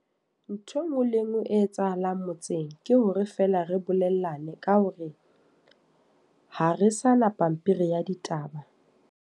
Ntho e nngwe le e nngwe e etsahalang motseng. Ke hore feela re bolellane, ka hore ha re sana pampiri ya ditaba.